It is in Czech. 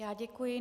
Já děkuji.